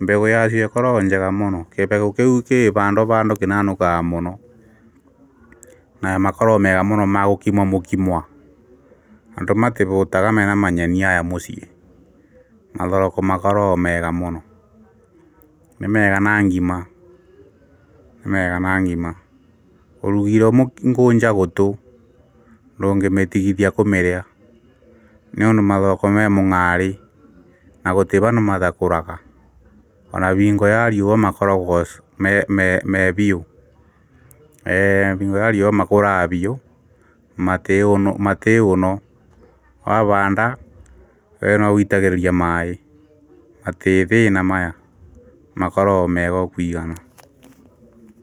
mbeũ yacio ĩkorogo njega mũno kĩbegũ kĩu kĩ vando vando kĩnanũkakaga mũno, na makorogo mega mũno ma gũkima mũkimwa, andũ matĩvũũtaga mena manyeni aya mũciĩ, mathoroko makorogo mega mũno nĩmega na ngima ni mega ngima ũrugĩirwo ngũnja gũtũ ndũngĩmĩtigithia kũmĩrĩa nĩũndũ mathoroko me mung’aarĩ na gũtĩ vandũ matakũraga ona bingo ya riũa makorogo me biũ, bingo ya riũa makũraga biũ, matĩ ũũno wavaanda wee no guitagĩrĩria maĩĩ matĩĩ thĩĩna maya, makorogo mega okũigana